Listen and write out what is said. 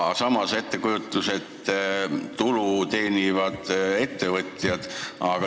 Samas tekib ettekujutus tulu teenivast ettevõtjast.